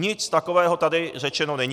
Nic takového tady řečeno není.